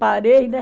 Parei, né?